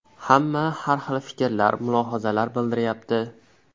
Hamma har hil fikrlar, mulohazalar bildiryapti.